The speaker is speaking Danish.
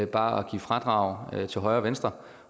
bare at give fradrag til højre og venstre